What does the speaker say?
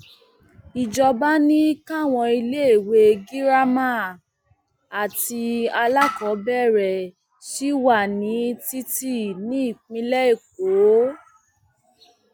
ìjọba ni káwọn iléèwé girama um àti alákọọbẹrẹ sí wà ní títì um nípínlẹ èkó